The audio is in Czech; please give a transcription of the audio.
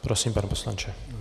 Prosím, pane poslanče.